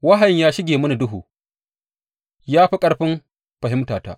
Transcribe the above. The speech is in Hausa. Wahayin ya shige mini duhu, ya fi ƙarfin fahimtata.